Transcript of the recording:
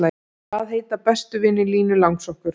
Hvaða heita bestu vinir Línu langsokkur?